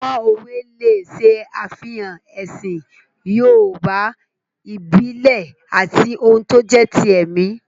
Àwọn òwe lè ṣe àfihàn ẹ̀sìn yoòbá ìbílẹ̀ àti ohun tó jẹ́ ti ẹ̀mí